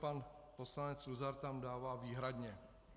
Pan poslanec Luzar tam dává "výhradně".